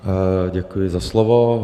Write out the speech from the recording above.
Děkuji za slovo.